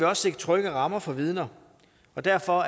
også sikre trygge rammer for vidner og derfor